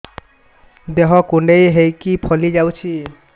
ଦେହ କୁଣ୍ଡେଇ ହେଇକି ଫଳି ଯାଉଛି